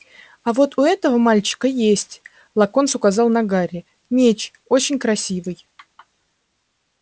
а вот у этого мальчика есть локонс указал на гарри меч очень красивый